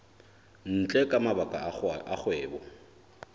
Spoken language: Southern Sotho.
ntle ka mabaka a kgwebo